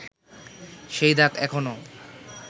সেই দাগ এখনো